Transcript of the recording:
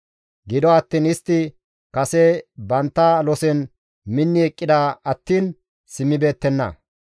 Gido attiin istti kase bantta losen minni eqqida attiin simmibeettenna.